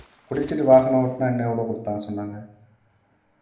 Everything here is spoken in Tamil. குடிச்சிட்டு வாகனம் ஓட்டுனா இன்னும் எவ்வளவு குடுத்தாங்கன்னு சொன்னாங்க